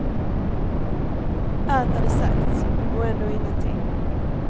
Allt hade sagts, och ändå ingenting.